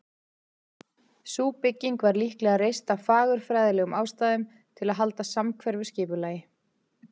Sú bygging var líklega reist af fagurfræðilegum ástæðum, til að halda samhverfu skipulagi.